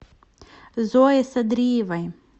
зое садриевой